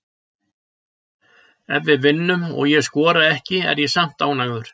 Ef við vinnum og ég skora ekki er ég samt ánægður.